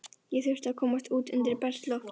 Ég þurfti að komast út undir bert loft.